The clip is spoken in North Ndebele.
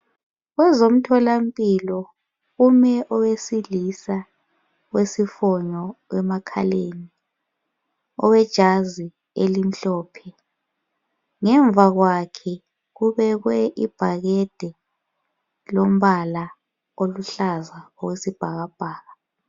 Kwezomtholampilo kume owesilisa olesifonyo emakhaleni owejazi elimhlophe. Ngemva kwakhe kubekwe ibhakede lombala oluhlaza okwesibhakabhaka.